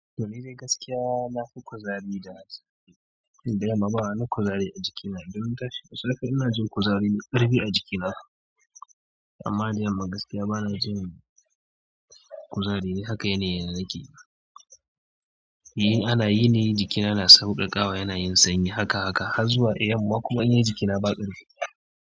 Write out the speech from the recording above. To ni dai gaskiya nafi kuzari da safe. Ni da yamma ba na kuzari a jikina. Don ina tashi da safe ina jin kuzari da ƙarfi a jikina. Amma da yamma gaskiya bana jin kuzari. Haka yanayi na yake. In ana yini jikina na sauƙaƙawa yana yin sanyi haka haka har zuwa yamma kuma in yi jikina ba ƙarfi.